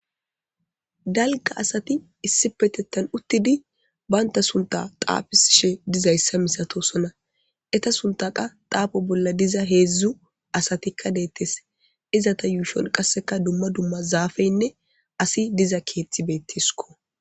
dalga asati issipetettan uttidi baynta sunta xaafisishe dizayssa misatosona etta suntha qa daafo bolla diza heedzdzu asatikka deettes izata yuushon qasseka dumma dumma zaafeynne asi diza keeththi beettesko